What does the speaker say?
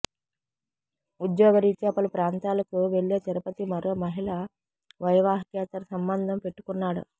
ఉద్యోగ రీత్యా పలు ప్రాంతాలకు వెళ్లే తిరుపతి మరో మహిళ వైవాహికేతర సంబంధం పెట్టుకున్నాడు